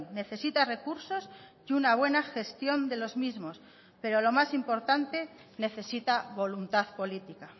necesita recursos y una buena gestión de los mismos pero lo más importante necesita voluntad política